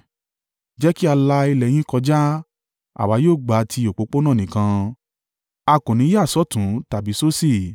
“Jẹ́ kí a la ilẹ̀ ẹ yín kọjá. Àwa yóò gba ti òpópónà nìkan. A kò ní yà sọ́tùn tàbí sósì.